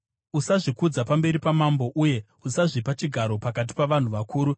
Usazvikudza pamberi pamambo, uye usazvipa chigaro pakati pavanhu vakuru;